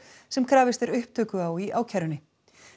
sem krafist er upptöku á í ákærunni